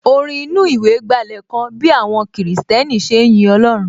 Orin inú ìwé gbálẹ̀ kan bí àwọn kìrìsìtẹ́nì ṣe ń yin Ọlọ́run